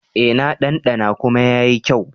E, na ɗanɗana kuma yayi kyau.